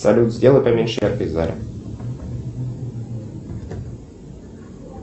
салют сделай поменьше яркость в зале